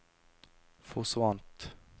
forsvant